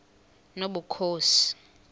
nobukhosi